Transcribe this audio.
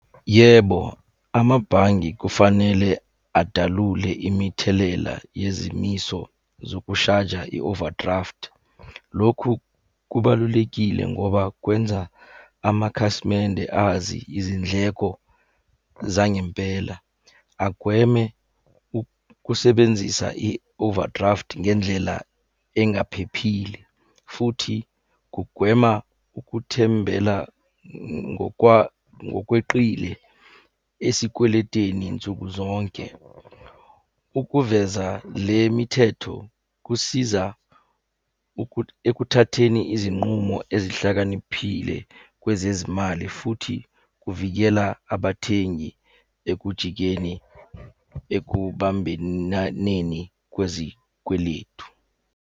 Yebo, amabhange kufanele adalule imithelela yezimiso zokushaja i-overdraft. Lokhu kubalulekile ngoba kwenza amakhasimende azi izindleko zangempela. Agweme ukusebenzisa i-overdraft ngendlela engaphephile, futhi kugwema ukuthembela ngokweqile esikweleteni nsuku zonke. Ukuveza le mithetho kusiza ekuthatheni izinqumo ezihlakaniphile kwezezimali futhi kuvikela abathengi ekujikeni ekubambenaneni kwezikweletu.